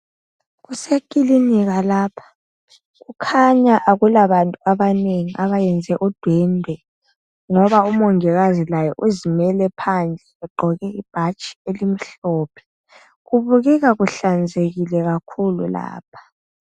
Kusekilinika lapha. Kukhanya akulabantu abanengi abayenze udwendwe ngoba umongikazi laye uzimele phandle ugqoke ibhatshi elimhlophe. Kukhanya kuhlanzekile kakhulu lapha.